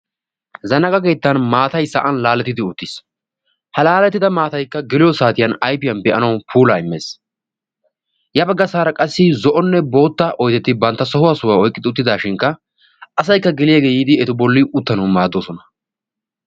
Zanaqa keettan maatai sa'an laalettidi uuttiis ha laalettida maataikka giliyo saatiyan aifiyan be'anau puulaa immees yabagga saara qassi zo'onne bootta oydetti bantta sohuwaa sohuwaa oyqqidi uttidaashinkka asaykka giliyaagee yiidi etu bolli uttanawu maaddoosona.